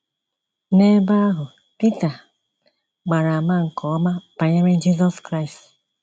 N’ebe ahụ, Pita gbara àmà nke ọma banyere Jizọs Kraịst.